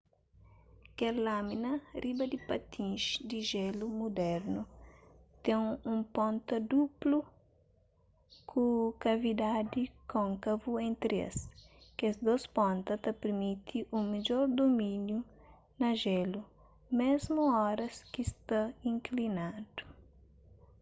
kel lâmina riba di patins di jelu mudernu ten un ponta duplu ku kavidadi kônkavu entri es kes dôs ponta ta pirmiti un midjor dumíniu na jélu mésmu oras ki sta inklinadu